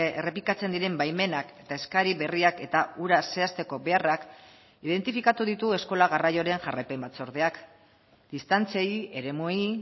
errepikatzen diren baimenak eta eskari berriak eta hura zehazteko beharrak identifikatu ditu eskola garraioaren jarraipen batzordeak distantziei eremuei